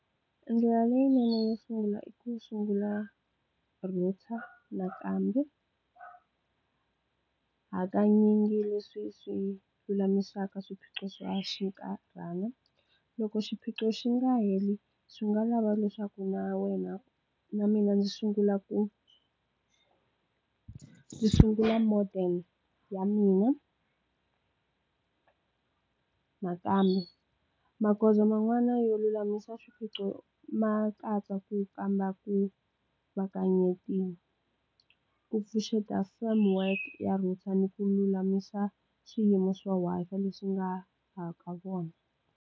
Ndlela leyinene yo sungula i ku sungula router nakambe hakanyingi leswi swi lulamisaka swiphiqo swa xinkarhana loko xiphiqo xi nga heli swi nga lava leswaku na wena na mina ndzi sungula ku ku sungula model ya mina nakambe magoza man'wana yo lulamisa swiphiqo ma katsa ku kamba ku ku pfuxeta firm work ya router naku lulamisa swiyimo swin'wana leswi nga ha ka vona.